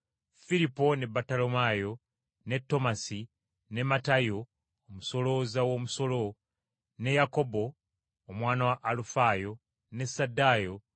Firipo; ne Battolomaayo; ne Tomasi; ne Matayo, omusolooza w’omusolo; ne Yakobo, omwana wa Alufaayo; ne Saddayo;